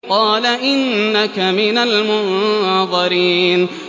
قَالَ إِنَّكَ مِنَ الْمُنظَرِينَ